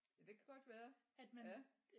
Ja det kan godt være. Ja